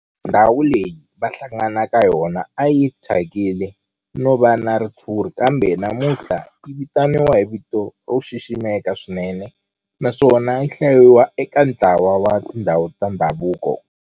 Ndhawu leyi a va hlangana ka yona a yi thyakile no va na ritshuri kambe namuntlha yi vitaniwa hi vito ro xiximeka swinene naswona yi hlayiwa eka ntlawa wa tindhawu ta ndhavuko.